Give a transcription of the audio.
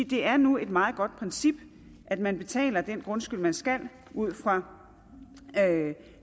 det er nu et meget godt princip at man betaler den grundskyld man skal ud fra